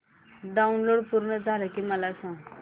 download पूर्ण झालं की मला सांग